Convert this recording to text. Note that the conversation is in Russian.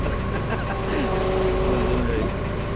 над землёй